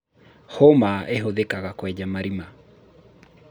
hũma ĩhuthĩkaga kũenja marima